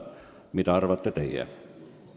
Mida arvate teie?